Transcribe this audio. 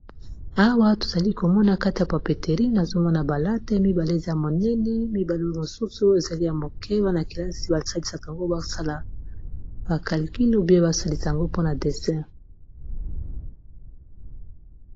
Awa tozali komona kati ya papeterine azomona balate mibale za monene mibalo mosusu ezali ya moke wana -kelasi basalisaka ngo basala bakalkulu bye basalisango mpona desin